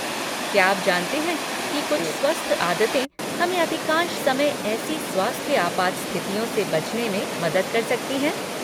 क्या आप जानते हैं कि कुछ स्वस्थ आदतें हमें अधिकांश समय ऐसी स्वास्थ्य आपात स्थितियों से बचने में मदद कर सकती हैं?